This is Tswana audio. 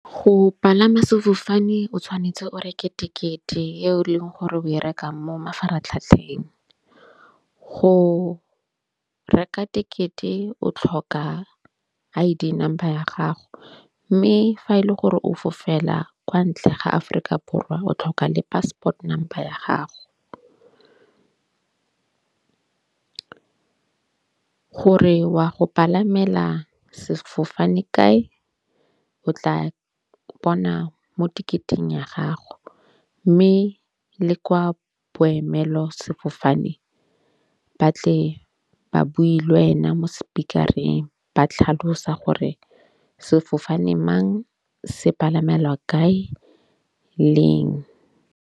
Go palama sefofane o tshwanetse o reke tekete yo e leng gore o e reka mo mafaratlhatlheng go reka tekete o tlhoka I_D number ya gago. Mme fa e le gore o fofela kwa ntle ga Aforika Borwa o tlhoka le passport number ya gago gore wa go palamela sefofane kae. O tla bona mo teketeng ya gago mme le kwa boemelo sefofane ba tle ba bui le wena mo sepikareng ba tlhalosa gore sefofane mang se palamelwa kae leng.